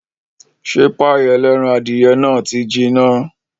Ṣé páì ẹlẹ́ran adìyẹ náà ti jiná